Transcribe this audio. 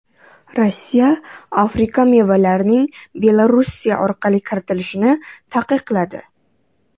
Rossiya Afrika mevalarining Belorussiya orqali kiritilishini taqiqladi.